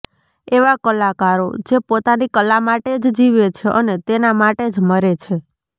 એવા કલાકારો જે પોતાની કલા માટે જ જીવે છે અને તેના માટે જ મરે છે